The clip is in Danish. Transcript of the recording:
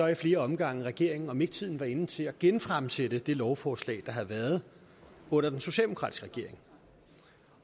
i flere omgange regeringen om ikke tiden var inde til at genfremsætte det lovforslag der havde været under den socialdemokratiske regering